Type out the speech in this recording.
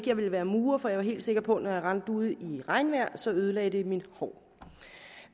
jeg ville være murer for jeg var helt sikker på at når jeg rendte ude i regnvejr ødelagde det mit hår